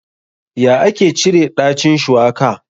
Ya ake cire ɗacin shuwaka?